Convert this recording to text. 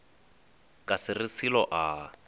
ka se re selo a